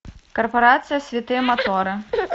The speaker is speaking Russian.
корпорация святые моторы